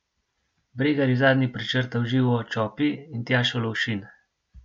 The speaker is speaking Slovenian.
Bregar je zadnji prečrtal Živo Čopi in Tjašo Lovšin.